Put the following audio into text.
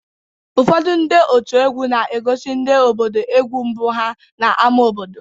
Ụfọdụ ndị òtù egwú na-egosi ndị obodo egwu mbụ ha n'ámá obodo.